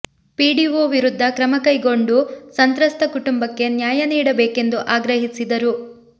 PDO ವಿರುದ್ಧ ಕ್ರಮ ಕೈಗೊಂಡು ಸಂತ್ರಸ್ತ ಕುಟುಂಬಕ್ಕೆ ನ್ಯಾಯ ನೀಡಬೇಕೆಂದು ಆಗ್ರಹಿಸಿದರು